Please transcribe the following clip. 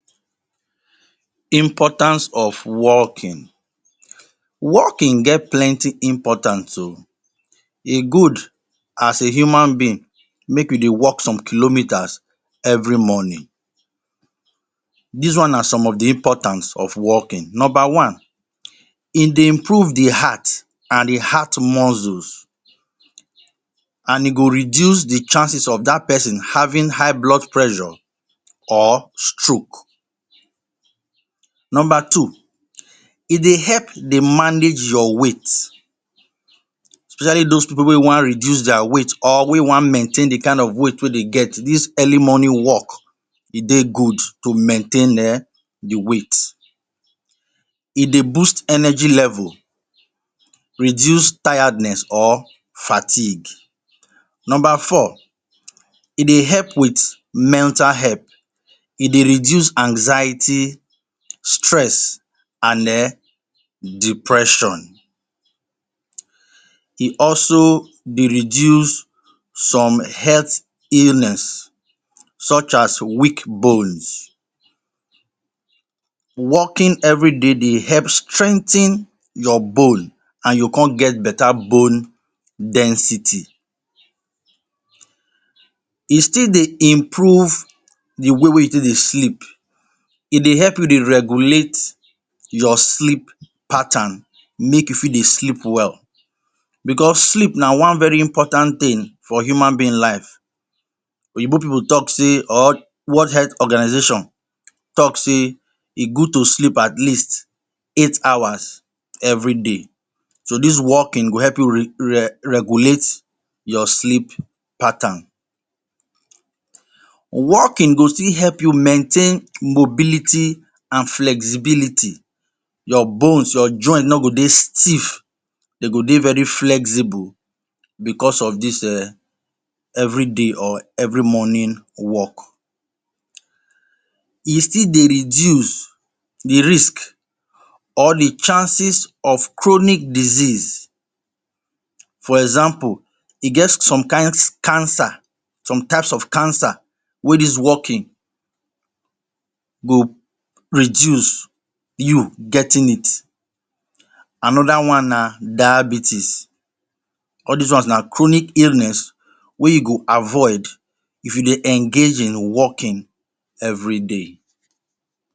Importance of walking: Walking get plenty importance ooh e good as a human being make you dey walk some kilometers every morning dis one na some of the importance of walking. number one e dey improve the heart and the heart muscles and e go reduce the chances of that person having high blood pressure or stroke. number two e dey help dey manage your weight especially those people wey wan reduce their weight or wey wan maintain the kind of weight wey dem get this early morning walk e dey good to maintain the weight, e dey boost energy level, Reduce tiredness or fatigue. number four e dey help with mental health e dey reduce anxiety, stress and eh depression. E also de reduce some health illness such as weak bones. Walking everyday dey help strengthen your bone and you go come get better bone density e still dey improve the way wey you take dey sleep e dey help you dey regulate your sleep pattern make you fit dey sleep well because sleep na one very important thing for human being life oyibo people talk say or world health organization talk say e good to sleep at least 8 hours everyday so dis walking go help you regulate your sleep pattern. Walking go still help you maintain mobility and flexibility your bones your joint no go dey stiff dey go dey very flexible because of this everyday or every morning walk, E still dey reduce the risk or the chances of chronic disease for example e get some kind cancer some types of cancer wey this walking go reduce you getting it, Another one na diabetes all this one na chronic illness wey you go avoid if you dey engage in walking everyday.